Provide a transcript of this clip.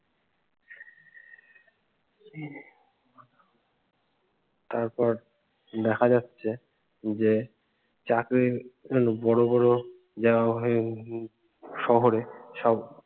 তারপর দেখা যাচ্ছে যে চাকরির বড় বড় শহরে সব